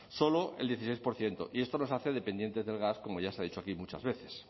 solo el dieciséis por ciento y esto nos hace dependientes del gas como ya se ha dicho aquí muchas veces